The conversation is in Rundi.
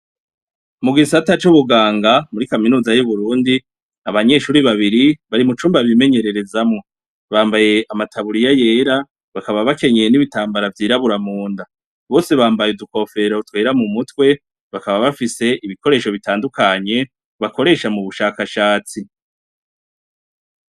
Icumba kirimw' umugore n' umugabo bariko bategur' ibifungurwa mu gikoni, umugor' arunamy' arik' arakora ku mfungurwa ziri ku meza, yambay' impuzu zera n' inkofero mu mutwe yera, hari n' umugab' uhagaz' iruhande wambay' impuzu zera n' inkofero yera, asa nuwurik' aratungany' ibintu cank' arab' ibiriko birakogwa, igikoni gifis' imeza ndende bategurirako kandi habonek' ibikoresho n' ibiribwa bitandukanye bishobora kub' ar' imboga cank' ivyamwa barigukata.